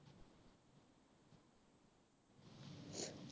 হে